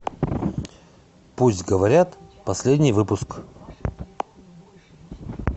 пусть говорят последний выпуск